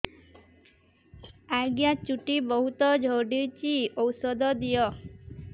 ଆଜ୍ଞା ଚୁଟି ବହୁତ୍ ଝଡୁଚି ଔଷଧ ଦିଅ